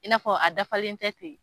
I n'a fɔ a dafalen tɛ ten